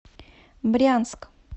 брянск